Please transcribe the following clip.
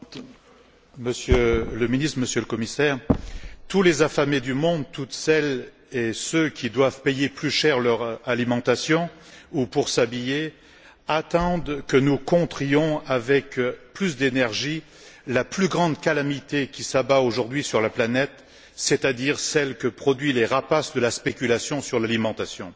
Madame la Présidente, Monsieur le Ministre, Monsieur le Commissaire, tous les affamés du monde, toutes celles et tous ceux qui doivent payer plus cher pour s'alimenter ou pour s'habiller attendent que nous contrions avec plus d'énergie la plus grande calamité qui s'abat aujourd'hui sur la planète, c'est à dire celle que produisent les rapaces de la spéculation sur l'alimentation.